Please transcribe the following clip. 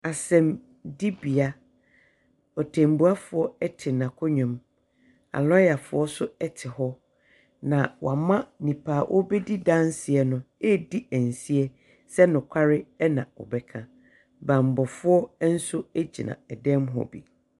Asɛmdi bea, Ɔtɛmbuafoɔ ɛte n'akonwa mu. Alɔyafoɔ so ɛte hɔ. Na wama nipa a ɔɔbɛdi danseɛ no eedi ɛnseɛ sɛ nokware ɛna ɔbɛka. Banbɔfoɔ ɛnso egyina ɛdɛm hɔ bi.